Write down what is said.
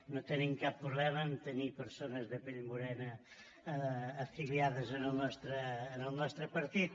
no tenim cap problema a tenir persones de pell morena afiliades en el nostre partit